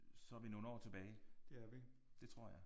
Så er vi nogle år tilbage. Det tror jeg